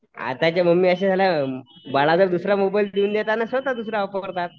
आताच्या मम्म्यां अश्या झाल्या बाळाला दुसरा मोबाईल देऊन देतात स्वतः दुसरा वापरतात.